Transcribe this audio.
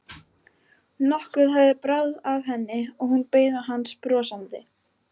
Nokkuð hafði bráð af henni og hún beið hans brosandi.